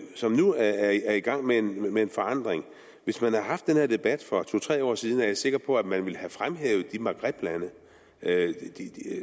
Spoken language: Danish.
som nu er i gang med med en forandring hvis man havde haft den her debat for to tre år siden er jeg sikker på at man ville have fremhævet de maghreblande